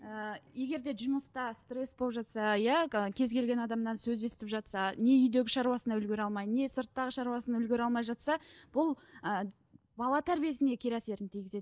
ііі егерде жұмыста стресс болып жатса иә кез келген адамнан сөз естіп жатса не үйдегі шаруасына үлгермей алмай не сырттағы шаруасына үлгере алмай жатса бұл ыыы бала тәрбиесіне кері әсерін тигізеді